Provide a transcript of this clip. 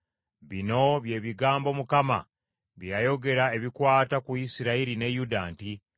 Bino bye bigambo Mukama bye yayogera ebikwata ku Isirayiri ne Yuda nti,